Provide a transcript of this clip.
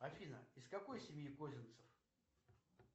афина из какой семьи козинцев